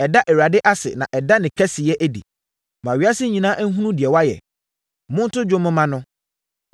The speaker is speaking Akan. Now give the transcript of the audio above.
Ɛda Awurade ase na da ne kɛseyɛ adi. Ma ewiase nyinaa nhunu deɛ wayɛ.